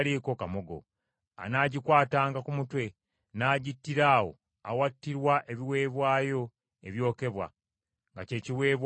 Anaagikwatanga ku mutwe, n’agittira awo awattirwa ebiweebwayo ebyokebwa, nga kye kiweebwayo olw’ekibi.